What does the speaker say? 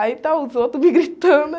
Aí está os outros me gritando.